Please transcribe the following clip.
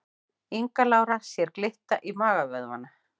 Inga Lára sér glitta í magavöðvana